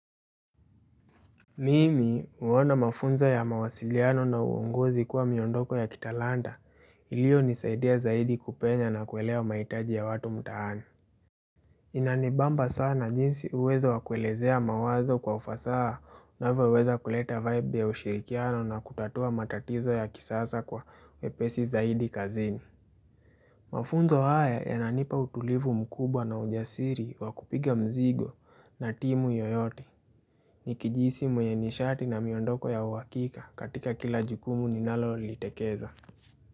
Mimi huona mafunzo ya mawasiliano na uongozi kuwa miondoko ya kitalanta iliyo nisaidia zaidi kupenya na kuelewa mahitaji ya watu mtaani. Inanibamba sana jinsi uwezo wakuelezea mawazo kwa ufasaha unavyo weza kuleta vibe ya ushirikiano na kutatua matatizo ya kisasa kwa uwepesi zaidi kazini. Mafunzo haya yananipa utulivu mkubwa na ujasiri wakupiga mzigo na timu yoyote Nikijihisi mwenye nishati na miondoko ya uhakika katika kila jukumu ninalo litekeza.